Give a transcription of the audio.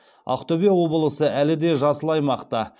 ақтөбе облысы әлі де жасыл аймақта